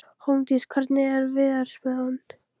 Hólmdís, hvernig er veðurspáin?